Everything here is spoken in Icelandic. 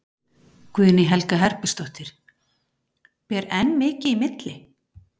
Guðný Helga Herbertsdóttir: Ber enn mikið í milli?